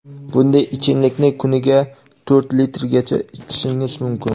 bunday ichimlikni kuniga to‘rt litrgacha ichishingiz mumkin.